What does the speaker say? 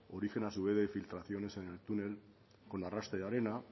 origen a su vez de filtraciones en el túnel con arrastre de arena